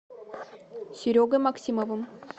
серегой максимовым